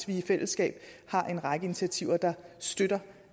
vi i fællesskab har en række initiativer der støtter